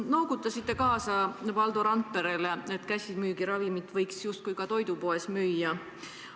Te noogutasite kaasa Valdo Randperele, et käsimüügiravimeid võiks ka toidupoes müüa.